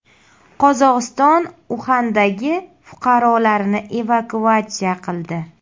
Qozog‘iston Uxandagi fuqarolarini evakuatsiya qildi.